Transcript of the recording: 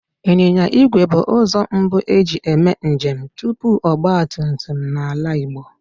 Ịnyịnya igwe bụ ụzọ mbu e ji eme njem tupu ọgbatumtum n'ala Igbo